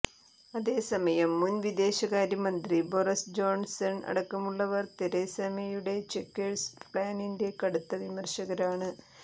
അതെസമയം മുൻ വിദേശകാര്യമന്ത്രി Boris Johnson അടക്കമുള്ളവർ തെരേസ മേയുടെ ചെക്വേഴ്സ് പ്ലാനിന്റെ കടുത്ത വിമർശകരാണ്